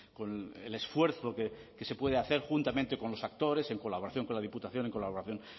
con el esfuerzo que se puede hacer juntamente con los actores en colaboración con la diputación en colaboración